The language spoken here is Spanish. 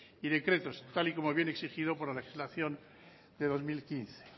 y decretos tal y como viene exigido por la legislación de dos mil quince